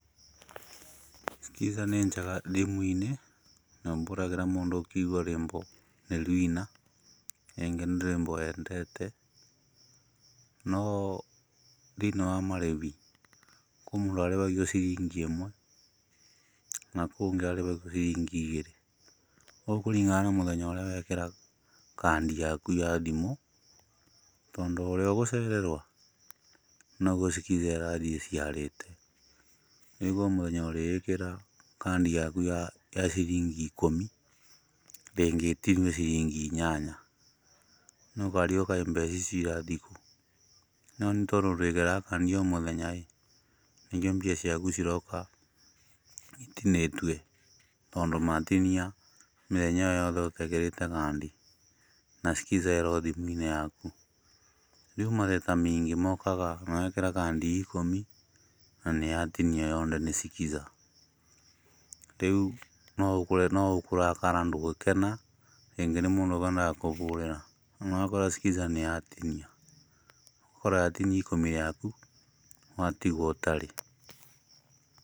Skiza nĩ njega thimũ-inĩ, na mbũragĩra mũndũ ũkĩigua rwĩmbo nĩ ruina rĩngĩ nĩ rwĩmbo wendete, no thĩiniĩ wa marĩbi, kũ mũndũ arĩbagio ciringi ĩmwe, na kũũngĩ arĩbagio ciringi igĩrĩ, gũkũringana na mũthenya ũrĩa wekĩra kandi yaku ya thimũ, tondũ ũrĩa ũgũcererwo, noguo Skiza ĩrathiĩ ĩciarĩte, rĩu mũthenya ũrĩkĩra kandi yaku ya ciringi ikũmi, rĩngĩ ĩtinio ciringi inyanya, nokarigwo kaĩ mbeca icio irathi kũũ, no nĩ tondũ ndwĩkĩraga kandi o mũthenyaĩ, nĩkĩo mbia ciaku ciroka itinĩtue, tondũ matinia mĩthenya ĩyo yoothe ũtekĩrĩte kandi, na Skiza ĩro thimũ-inĩ yaku. Rĩu mateta meingĩ mokaga wekĩra kandi ya ikũmi na nĩ yatinio yonthe nĩ Skiza, rĩu noũkore noũkũrakara ndũgĩkena, rĩngĩ nĩ mũndũ ũkwendaga kũbũrĩra, rĩu ũgakora Skiza nĩyatinia, ũgakora yatinia ikũmi rĩaku, watigwo ũtarĩ.